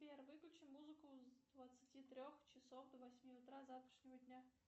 сбер выключи музыку с двадцати трех часов до восьми утра завтрашнего дня